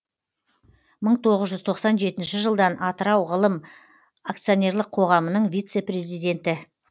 мың тоғыз жүз тоқсан жетінші жылдан атырау ғылым акционерлік қоғамының вице президенті